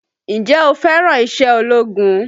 Ǹjẹ́ o fẹ́ràn iṣẹ́ ológun?